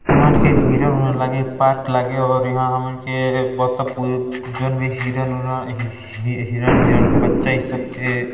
हमन के हिरण उरण लागे पार्क लागे और यहाँ हमन के हिरण उरण हिरण हिरण का बच्चा ई सब के --